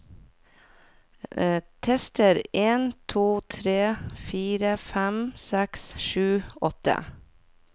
Tester en to tre fire fem seks sju åtte